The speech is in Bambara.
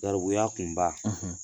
Garibuya kunba